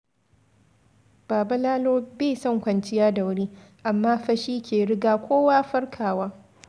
Baba Lalo bai son kwanciya da wuri, amma fa shi ke riga kowa farkawa.